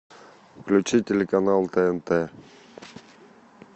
включи телеканал тнт